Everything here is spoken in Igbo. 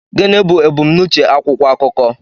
Gịnị bụ ebumnuche akwụkwọ akụkọ